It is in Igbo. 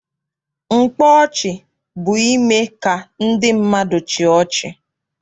Mkpa ọchị bụ ime ka ndị mmadụ chịa ọchị.